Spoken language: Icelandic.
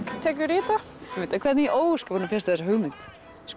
tekur í þetta hvernig í ósköpunum fékkstu þessa hugmynd